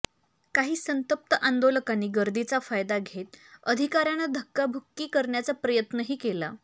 काही संतप्त आंदोलकांनी गर्दीचा फायदा घेत अधिकाऱयांना धक्काबुक्की करण्याचा प्रयत्नही केला